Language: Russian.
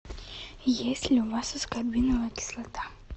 есть ли у вас аскорбиновая кислота